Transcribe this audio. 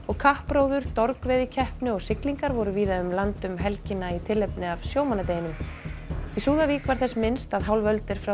kappróður dorgveiðikeppni og siglingar voru víða um land um helgina í tilefni af sjómannadeginum í Súðavík var þess minnst að hálf öld er frá